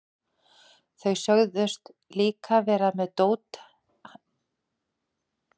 Þeir sögðust líka vera með dótið handa mér sem þeir höfðu talað um.